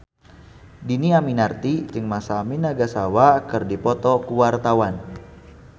Dhini Aminarti jeung Masami Nagasawa keur dipoto ku wartawan